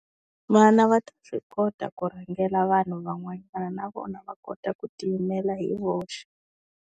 Vana va ta swi kota ku rhangela vanhu van'wana na vona va kota ku ti yimela hi voxe.